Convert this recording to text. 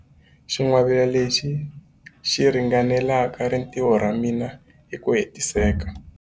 Xingwavila lexi xi ringanela rintiho ra mina hi ku hetiseka.